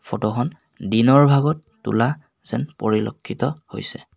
Photo খন দিনৰ ভাগত তোলা যেন পৰিলক্ষিত হৈছে।